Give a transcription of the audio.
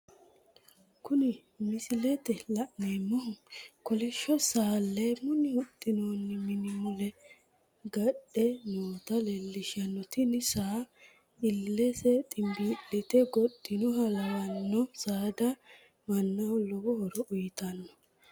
Kuni misilete la'neemohu, kollisho saa leemunni huxinooni mini mule gadhe noota leelishano, tini saano illese ximbiilite goxxinohha lawanno, saada manaho lowo horo uyitano